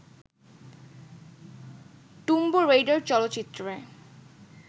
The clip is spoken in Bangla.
টুম্ব রেইডার চলচ্চিত্রে